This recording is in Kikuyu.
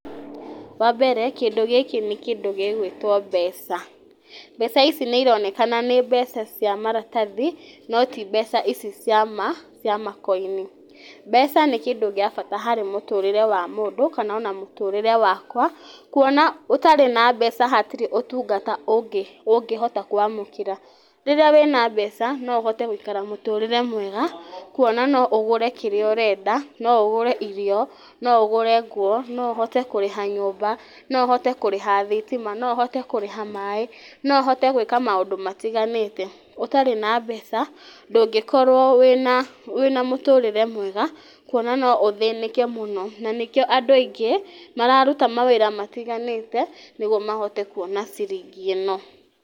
Wa mbere kĩndũ gĩkĩ nĩ kĩndũ gĩgũĩtwo mbeca. Mbeca ici nĩ ironekana nĩ mbeca cia maratathi no ti mbeca ici cia makoini. Mbeca nĩ kĩndũ gĩa bata harĩ mũtũrĩre wa mũndũ kana ona mũtũrĩre wakwa, kuona ũtarĩ na mbeca hatirĩ ũtungata ũngĩhota kwamũkĩra. Rĩrĩa wĩna mbeca no ũhote gũikara mũtũrĩre mwega kuona no ũgũre kĩrĩa ũrenda no ũgũre irio, no ũgũre nguo, no ũhote kũrĩha nyũmba, no ũhote kũrĩha thitima, no ũhote kũrĩha maaĩ no ũhote gwĩka maũndũ matiganĩte. Ũtarĩ na mbeca, ndũngĩkorwo wĩna mũtũrĩre mwega kuona no ũthĩnĩke mũno na nĩkĩo andũ aingĩ mararuta wĩra ũtiganĩte nĩgetha mahote kuona ciringi ĩno.